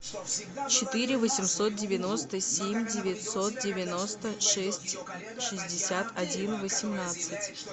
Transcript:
четыре восемьсот девяносто семь девятьсот девяносто шесть шестьдесят один восемнадцать